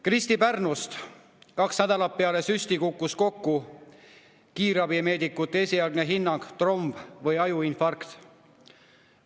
Kristi Pärnust: kaks nädalat peale süsti kukkus kokku, kiirabimeedikute esialgne hinnang oli tromb või ajuinfarkt.